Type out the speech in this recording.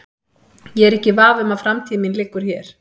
Ég er ekki í vafa um að framtíð mín liggur hér.